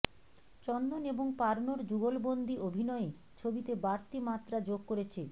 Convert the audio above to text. চন্দন এবং পার্নোর যুগলবন্দি অভিনয়ে ছবিতে বাড়তি মাত্রা যোগ করেছে